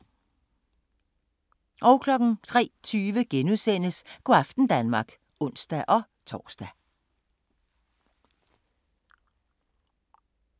03:20: Go' aften Danmark *(ons-tor)